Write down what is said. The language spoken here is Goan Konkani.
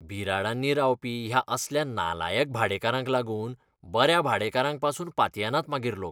बिराडांनी रावपी ह्या असल्या नालायक भाडेकारांक लागून बऱ्या भाडेकारांक पासून पातयेनात मागीर लोक!